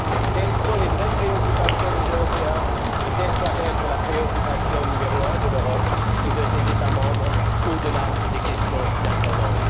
Telles sont les vraies préoccupations des Européens, et telle doit être la préoccupation numéro un de l'Europe et de ses États membres, au delà des questions d'intendance.